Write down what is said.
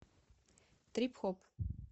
трип хоп